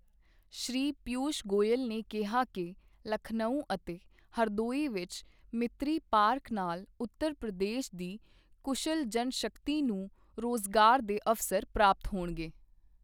ਸ਼੍ਰੀ ਪੀਯੂਸ਼ ਗੋਇਲ ਨੇ ਕਿਹਾ ਕਿ ਲਖਨਊ ਅਤੇ ਹਰਦੋਈ ਵਿੱਚ ਮਿਤ੍ਰੀ ਪਾਰਕ ਨਾਲ ਉੱਤਰ ਪ੍ਰਦੇਸ਼ ਦੀ ਕੁਸ਼ਲ ਜਨਸ਼ਕਤੀ ਨੂੰ ਰੋਜ਼ਗਾਰ ਦੇ ਅਵਸਰ ਪ੍ਰਾਪਤ ਹੋਣਗੇ